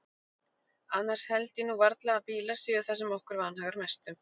Annars held ég nú varla að bílar séu það sem okkur vanhagar mest um.